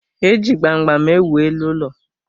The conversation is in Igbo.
Eji gbam gbam ewu elu ụlọ.